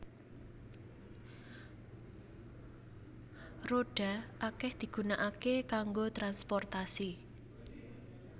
Rodha akèh digunakaké kanggo transportasi